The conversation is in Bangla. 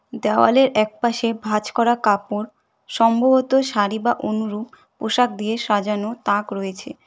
দেয়ালের একপাশে ভাজ করা কাপড় সম্ভবত শাড়ি বা অনুরূপ পোশাক দিয়ে সাজানো তাক রয়েছে।